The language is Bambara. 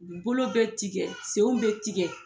Bolo be tikɛ , senw be tikɛ